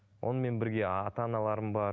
онымен бірге ата аналарым бар